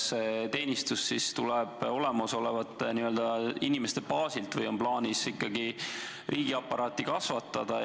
Kas teenistus tuleb olemasolevate inimeste baasilt või on plaanis ikkagi riigiaparaati kasvatada?